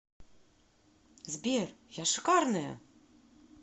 сбер я шикарная